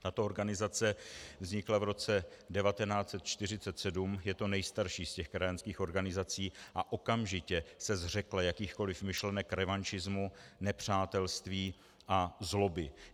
Tato organizace vznikla v roce 1947, je to nejstarší z těch krajanských organizací, a okamžitě se zřekla jakýchkoliv myšlenek revanšismu, nepřátelství a zloby.